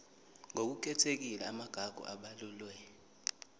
ngokukhethekile amagugu abalulwe